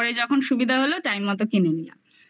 পরে যখন সুবিধা হলো টাইম মতো কিনে নিলাম